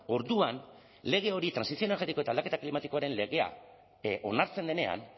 orduan lege hori trantsizio energetiko eta aldaketa klimatikoaren legea onartzen denean